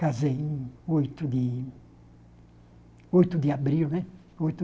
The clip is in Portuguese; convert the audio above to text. casei em oito de... oito de abril, né? Oito